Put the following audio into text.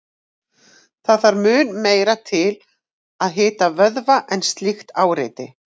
Það þarf mun meira til að hita vöðva en slíkt áreiti.